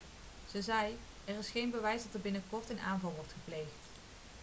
ze zei er is geen bewijs dat er een binnenkort een aanval wordt gepleegd